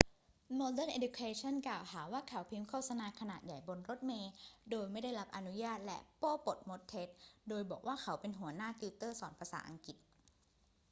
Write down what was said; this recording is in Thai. โมเดิร์นเอ็ดยูเคชัน กล่าวหาว่าเขาพิมพ์โฆษณาขนาดใหญ่บนรถเมล์โดยไม่ได้รับอนุญาตและโป้ปดมดเท็จโดยบอกว่าเขาเป็นหัวหน้าติวเตอร์สอนภาษาอังกฤษ